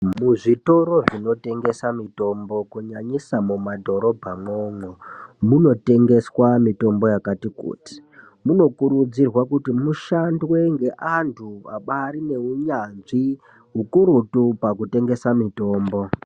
Muzvitoro zvinotengesa mitombo, kunyanyiswa mumadhorobha mwomwo. Munotengeswa mitombo yakati-kuti. Munokurudzirwa kuti mushandwe ngevanthu abaari neunyanzvi ukurutu, pakutengesa mutombo.